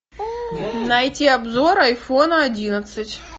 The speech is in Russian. найти обзор айфона одиннадцать